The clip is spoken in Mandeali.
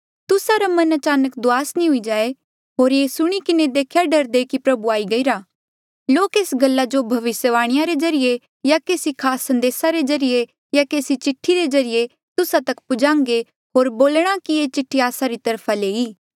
तुस्सा रा मन अचानक दुआस नी हुई जाये होर ये सुणी के देख्या डरदे कि प्रभु आई गईरा लोक एस गल्ला जो भविस्यवाणी रे ज्रीए या केसी खास संदेसा रे ज्रीए या केसी चिठ्ठी रे ज्रीए तुस्सा तक पुजांगे होर बोलणा कि ये चिठ्ठी आस्सा री तरफा ले ई